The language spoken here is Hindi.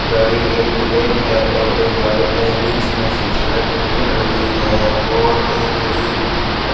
गाड़ी एक ब्लैक है और एक वाइट है बीच में से सड़क निकल रही है और एक रे बुक लिखा --